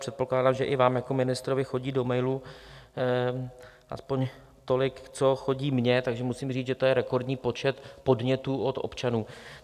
Předpokládám, že i vám jako ministrovi chodí do mailů aspoň tolik, co chodí mně, takže musím říct, že to je rekordní počet podnětů od občanů.